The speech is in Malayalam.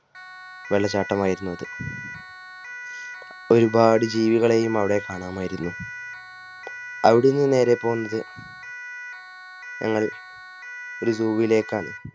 വെള്ളച്ചാട്ടം ആയിരുന്നു അത്ഒരുപാട് ജീവികളെയും അവിടെ കാണാമായിരുന്നു. അവിടുന്ന് നേരെ പോന്നത് ഞങ്ങൾ ഒരു Zoo ലേക്കാണ്